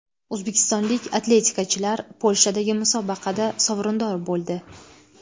O‘zbekistonlik atletikachilar Polshadagi musobaqada sovrindor bo‘ldi.